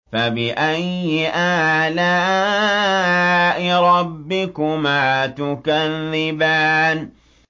فَبِأَيِّ آلَاءِ رَبِّكُمَا تُكَذِّبَانِ